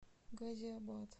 газиабад